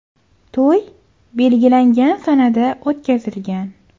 To‘y belgilangan sanada o‘tkazilgan.